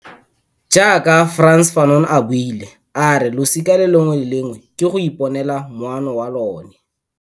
Jaaka Frantz Fanon a buile, ke go losika lengwe le lengwe go iponela moono wa lona.